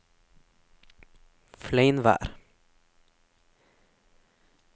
Fleinvær